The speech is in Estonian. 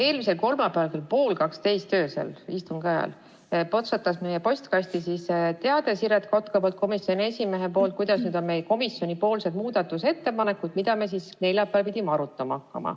Eelmisel kolmapäeval kell pool kaksteist öösel, istungi ajal potsatas meie postkasti teade komisjoni esimehelt Siret Kotkalt selle kohta, et siin on meie komisjoni muudatusettepanekud, mida me neljapäeval hakkame arutama.